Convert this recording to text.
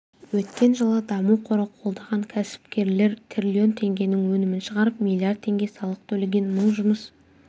өткен жылы даму қоры қолдаған кәсіпкерлер триллион теңгенің өнімін шығарып миллиард теңге салық төлеген мың жұмыс